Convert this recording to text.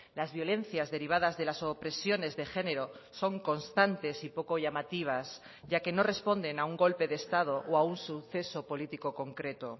las violencias derivadas de las opresiones de género son constantes y poco llamativas ya que no responden a un golpe de estado o a un suceso político concreto